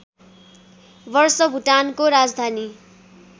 वर्ष भुटानको राजधानी